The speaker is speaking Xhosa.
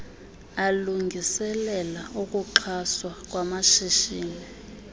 alungiselela ukuxhaswa kwamashishini